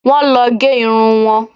Wọ́n lọ gẹ irun wọn